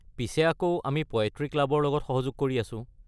পিছে আকৌ আমি পয়েট্ৰী ক্লাবৰ লগত সহযোগ কৰি আছো।